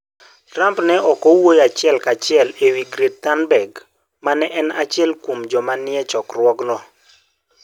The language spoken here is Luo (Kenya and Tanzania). Trump ne ok owuoyo achiel kachiel e wi Greta Thunberg, ma ne en achiel kuom joma ne nie chokruogno.